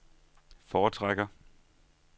foretrækker